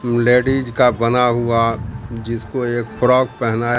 ladies का बना हुआ जिसको एक फ्रॉक पहनाया--